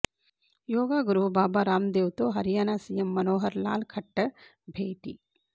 యోగా గురువు బాబా రాందేవ్తో హర్యానా సీఎం మనోహర్ లాల్ ఖట్టర్ భేటీ